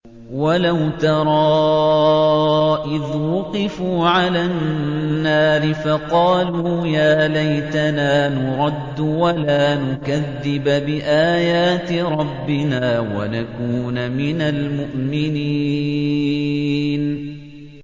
وَلَوْ تَرَىٰ إِذْ وُقِفُوا عَلَى النَّارِ فَقَالُوا يَا لَيْتَنَا نُرَدُّ وَلَا نُكَذِّبَ بِآيَاتِ رَبِّنَا وَنَكُونَ مِنَ الْمُؤْمِنِينَ